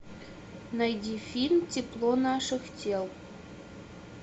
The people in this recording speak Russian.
найди фильм тепло наших тел